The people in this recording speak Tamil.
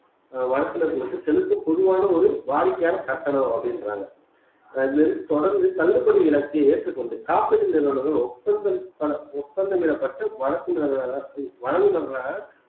ஆஹ் வழக்கில வந்து செலுத்தும் பொதுவான ஒரு வாடிக்கையான கட்டணம் அப்படின்றாங்க தொடர்ந்து தள்ளுபடி விலக்கை ஏற்றுக்கொண்டு காப்பீட்டு நிறுவனங்கள் ஒப்பந்தம் ஒப்பந்தம் இடப்பட்டு வழக்கு வழங்குபவர்களாக